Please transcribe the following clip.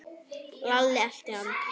Lalli elti hann.